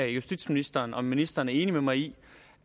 justitsministeren om ministeren er enig med mig i